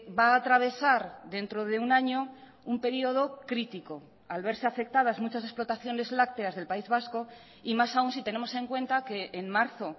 va a atravesar dentro de un año un período crítico al verse afectadas muchas explotaciones lácteas del país vasco y más aún si tenemos en cuenta que en marzo